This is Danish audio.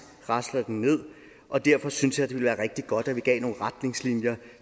rasler ned og derfor synes jeg ville være rigtig godt at vi gav nogle retningslinjer